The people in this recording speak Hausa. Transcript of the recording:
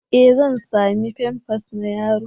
E! Zan sami famfas na yaro.